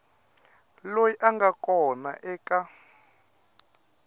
loyi a nga kona eka